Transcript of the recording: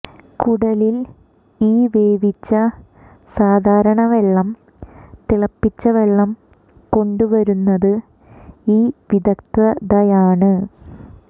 കുടലിൽ ഈ വേവിച്ച സാധാരണ വെള്ളം തിളപ്പിച്ച വെള്ളം കൊണ്ടുവരുന്നത് ഈ വിദഗ്ധയാണ്